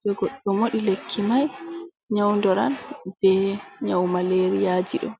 to goɗɗo moɗi lekki mai nyaudoran be nyau malariyaji ɗo.